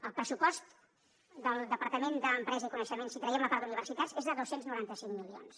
el pressupost del departament d’empresa i coneixement si traiem la part d’universitats és de dos cents i noranta cinc milions